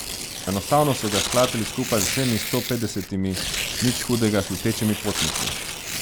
Enostavno so ga sklatili skupaj z vsemi sto petdesetimi nič hudega slutečimi potniki.